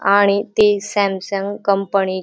आणि ते Samsung company --